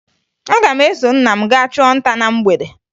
Aga m eso nna m gaa chụọ nta na mgbede